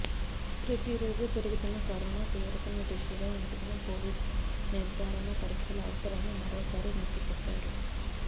ప్రతిరోజు పెరుగుతున్న కరోనా తీవ్రతను దృష్టిలో ఉంచుకొని కొవిడ్ నిర్ధారణ పరీక్షల అవసరాన్ని మరోసారి నొక్కి చెప్పారు